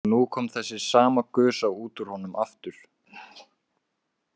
Og nú kom þessi sama gusa út úr honum aftur.